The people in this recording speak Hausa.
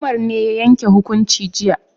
Umar ne ya yanke hukunci jiya